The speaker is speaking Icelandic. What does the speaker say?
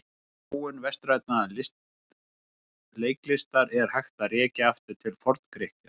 Þróun vestrænnar leiklistar er hægt að rekja aftur til Forngrikkja.